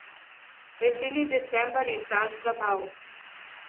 Veseli december je čas zabav.